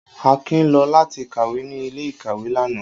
Akin lọ lati kawe ni ile-ìkàwé lana.